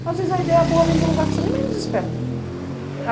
Às vezes a ideia boa vem de um lugar que você nem menos espera.